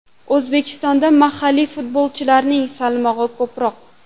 O‘zbekistonda mahalliy futbolchilarning salmog‘i ko‘proq.